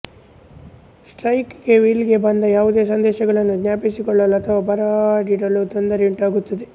spike ಗೆ ವಿಲ್ ಗೆ ಬಂದ ಯಾವುದೇ ಸಂದೇಶಗಳನ್ನು ಜ್ಞಾಪಿಸಿ ಕೊಳ್ಳಲು ಅಥವಾ ಬರೆದಿಡಲು ತೊಂದರೆಯುಂಟಾಗುತ್ತದೆ